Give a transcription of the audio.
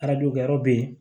kɛ yɔrɔ be yen